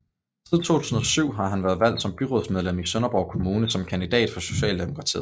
Siden 2007 har han været valgt som byrådsmedlem i Sønderborg Kommune som kandidat for Socialdemokratiet